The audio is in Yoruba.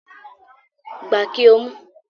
Gba kí o mu